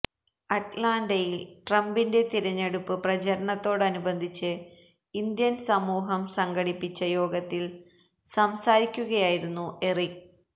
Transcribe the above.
അറ്റ്ലാന്റയിൽ ട്രംപിന്റെ തിരഞ്ഞെടുപ്പ് പ്രചാരണത്തോടനുബന്ധിച്ചു ഇന്ത്യൻ സമൂഹം സംഘടിപ്പിച്ച യോഗത്തിൽ സംസാരിക്കുകയായിരുന്നു എറിക്